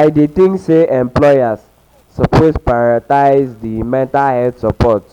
I dey think say employers suppose prioritize di um mental health supoort